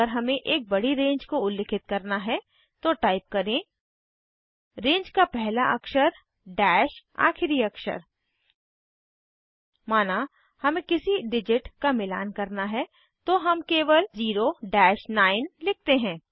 अगर हमें एक बड़ी रेंज को उल्लिखित करना है तो टाइप करें रेंज का पहला अक्षर डैश आखिरी अक्षर माना हमें किसी डिजिट का मिलान करना है तो हम केवल 0 9 लिखते हैं